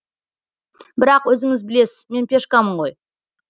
бірақ өзіңіз білесіз мен пешкамын ғой